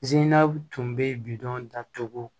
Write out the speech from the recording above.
tun bɛ bidɔn datugu